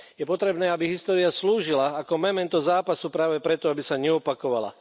Je potrebné, aby história slúžila ako memento zápasu práve preto, aby sa neopakovala.